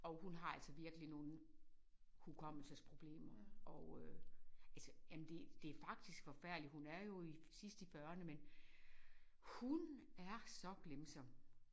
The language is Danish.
Og hun har altså virkelig nogen hukommelsesproblemer og øh altså jamen det det faktisk forfærdeligt hun er jo i sidst i fyrrerne men hun er så glemsom